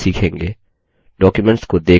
documents को देखना